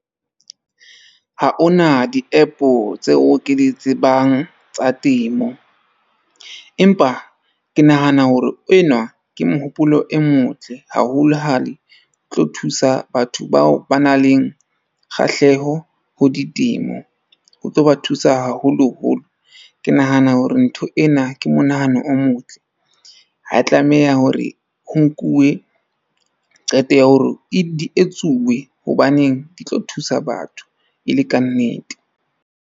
Ha hona di-app-o tseo ke di tsebang tsa temo. Empa ke nahana hore enwa ke mohopolo e motle haholo ha le tlo thusa batho bao ba nang leng kgahleho ho ditemo. O tlo ba thusa, haholoholo. Ke nahana hore ntho ena ke monahano o motle, ha ya tlameha hore o nkuwe qeto ya hore di etsuwe hobaneng di tlo thusa batho e le kannete.